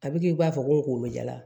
A bɛ k'i b'a fɔ ko n kunkolo jala